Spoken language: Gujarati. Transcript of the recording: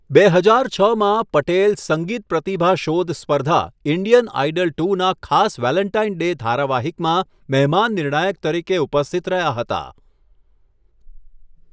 બે હજાર છમાં, પટેલ સંગીત પ્રતિભા શોધ સ્પર્ધા ઇન્ડિયન આઇડલ ટૂ ના ખાસ વેલેન્ટાઇન ડે ધારાવાહિકમાં મહેમાન નિર્ણાયક તરીકે ઉપસ્થિત રહ્યા હતા.